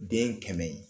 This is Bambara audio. Den kɛmɛ ye